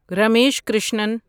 Ramesh Krishnan